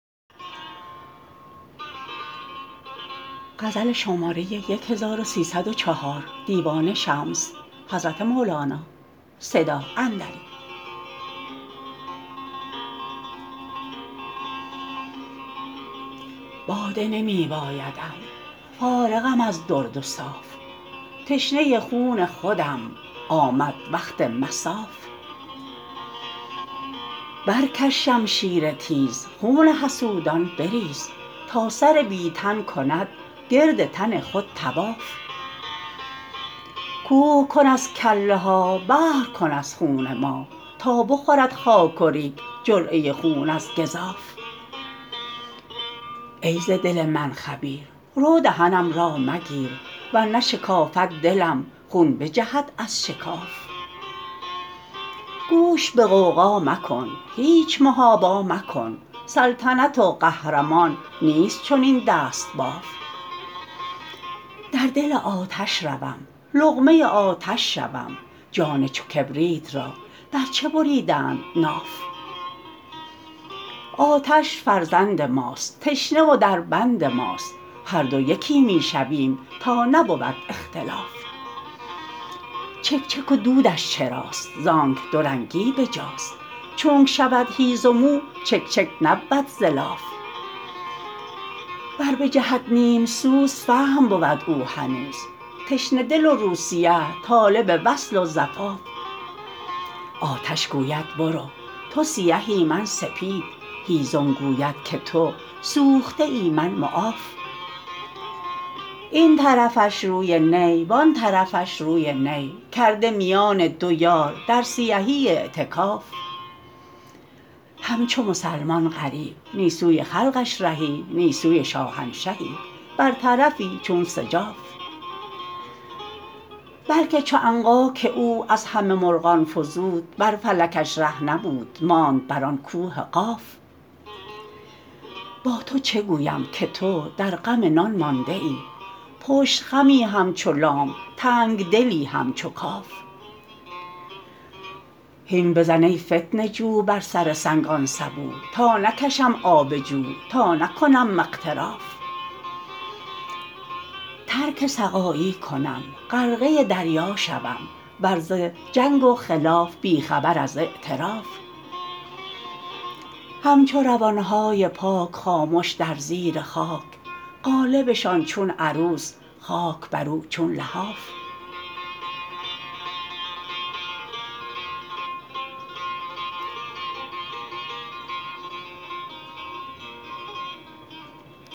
باده نمی بایدم فارغم از درد و صاف تشنه خون خودم آمد وقت مصاف برکش شمشیر تیز خون حسودان بریز تا سر بی تن کند گرد تن خود طواف کوه کن از کله ها بحر کن از خون ما تا بخورد خاک و ریگ جرعه خون از گزاف ای ز دل من خبیر رو دهنم را مگیر ور نه شکافد دلم خون بجهد از شکاف گوش به غوغا مکن هیچ محابا مکن سلطنت و قهرمان نیست چنین دست باف در دل آتش روم لقمه آتش شوم جان چو کبریت را بر چه بریدند ناف آتش فرزند ماست تشنه و دربند ماست هر دو یکی می شویم تا نبود اختلاف چک چک و دودش چراست زانک دورنگی به جاست چونک شود هیزم او چک چک نبود ز لاف ور بجهد نیم سوز فحم بود او هنوز تشنه دل و رو سیه طالب وصل و زفاف آتش گوید برو تو سیهی من سپید هیزم گوید که تو سوخته ای من معاف این طرفش روی نی وان طرفش روی نی کرده میان دو یار در سیهی اعتکاف همچو مسلمان غریب نی سوی خلقش رهی نی سوی شاهنشهی بر طرفی چون سجاف بلک چو عنقا که او از همه مرغان فزود بر فلکش ره نبود ماند بر آن کوه قاف با تو چه گویم که تو در غم نان مانده ای پشت خمی همچو لام تنگ دلی همچو کاف هین بزن ای فتنه جو بر سر سنگ آن سبو تا نکشم آب جو تا نکنم اغتراف ترک سقایی کنم غرقه دریا شوم دور ز جنگ و خلاف بی خبر از اعتراف همچو روان های پاک خامش در زیر خاک قالبشان چون عروس خاک بر او چون لحاف